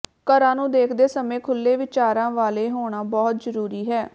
ਘਰਾਂ ਨੂੰ ਦੇਖਦੇ ਸਮੇਂ ਖੁੱਲ੍ਹੇ ਵਿਚਾਰਾਂ ਵਾਲੇ ਹੋਣਾ ਬਹੁਤ ਜ਼ਰੂਰੀ ਹੈ